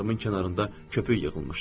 Dodaqlarımın kənarında köpük yığılmışdı.